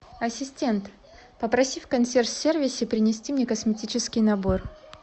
ассистент попроси в консьерж сервисе принести мне косметический набор